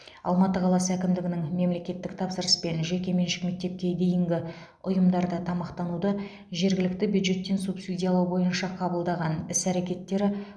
алматы қаласы әкімдігінің мемлекеттік тапсырыспен жеке меншік мектепке дейінгі ұйымдарда тамақтануды жергілікті бюджеттен субсидиялау бойынша қабылдаған іс әрекеттері